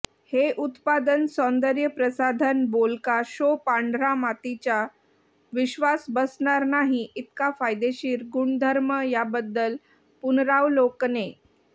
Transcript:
हे उत्पादन सौंदर्यप्रसाधन बोलका शो पांढरा मातीच्या विश्वास बसणार नाही इतका फायदेशीर गुणधर्म याबद्दल पुनरावलोकने